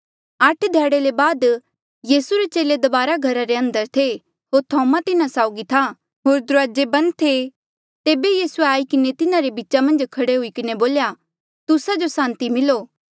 आठ ध्याड़े ले बाद यीसू रे चेले दबारा घरा रे अंदर थे होर थोमा तिन्हा साउगी था होर दुराजे बंद थे तेबे यीसूए आई किन्हें तिन्हारे बीचा मन्झ खड़ा हुई किन्हें बोल्या तुस्सा जो सांति मिलो